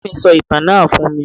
Àǹtí mí sọ ìtàn náà fún mí